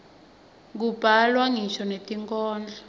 kubhalwa ngisho netinkhondlo